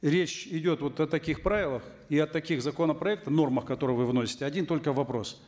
речь идет вот о таких правилах и от таких законопроектов в нормах которые вы вносите один только вопрос